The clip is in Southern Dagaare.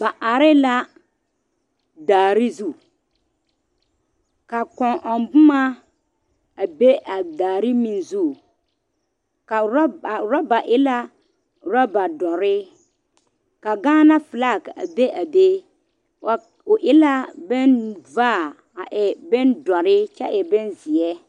Ba are la daare zu ka kõɔ ɔŋ boma beŋ be a daare zu a ɔrebare e la ɔrebare dɔrɔ ka gaana falaa be a be o e la bon vaa kyɛ e bon dɔrɔ.